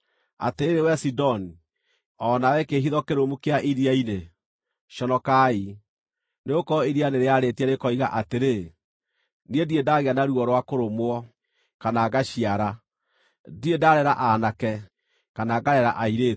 Atĩrĩrĩ wee Sidoni, o nawe, kĩĩhitho kĩrũmu kĩa iria-inĩ, conokai, nĩgũkorwo iria nĩrĩarĩtie rĩkoiga atĩrĩ: “Niĩ ndirĩ ndagĩa na ruo rwa kũrũmwo, kana ngaciara; ndirĩ ndaarera aanake, kana ngarera airĩtu.”